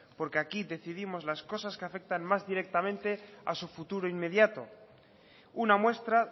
porque aquí decidimos las cosas que afectan más directamente a su futuro inmediato una muestra